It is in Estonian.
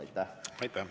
Aitäh!